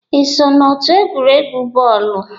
Ị so na otu egwuregwu bọọlụ?